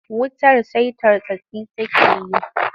Wutar sai tartsatsi take yi.